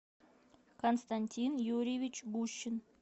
константин юрьевич гущин